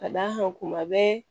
Ka d'a kan kuma bɛɛ